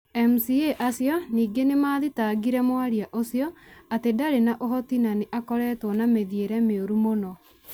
MCA acio ningĩ nĩ mathitangĩrĩ mwaria ũcio atĩ ndarĩ na ũhoti na nĩ akoretwo na mĩthiĩre mĩũru mũno,